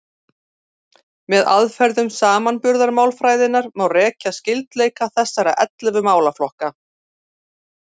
Með aðferðum samanburðarmálfræðinnar má rekja skyldleika þessara ellefu málaflokka.